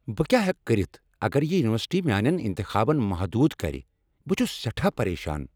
بہٕ کیٛاہ ہیکہٕ کٔرتھ اگر یہ یونیورسٹی میانین انتخابن محدودٕ کر بہٕ چھُس سیٹھاہ پریشان۔